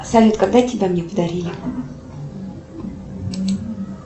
салют когда тебя мне подарили